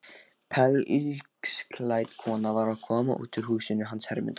Pelsklædd kona var að koma út úr húsinu hans Hermundar.